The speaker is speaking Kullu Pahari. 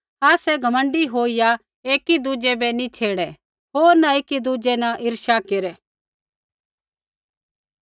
आसै घमण्डी होईया एकी दुज़ै बै नैंई छेड़े होर न एकी दुज़ै न ईर्ष्या केरै